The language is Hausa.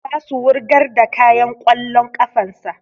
Za su wurgar da kayan ƙwallon ƙafan sa